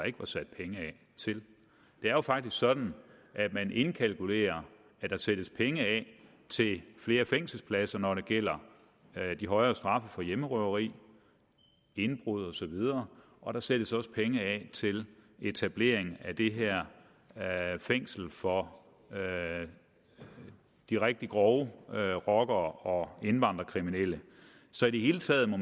ikke var sat penge af til det er faktisk sådan at man indkalkulerer at der sættes penge af til flere fængselspladser når det gælder de højere straffe for hjemmerøveri indbrud osv og der sættes også penge af til etablering af det her fængsel for de rigtig grove rockere og indvandrerkriminelle så i det hele taget må